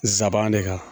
Nsaban de kan